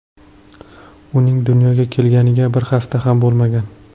Uning dunyoga kelganiga bir hafta ham bo‘lmagan.